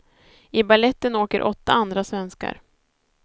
I baletten åker åtta andra svenskar.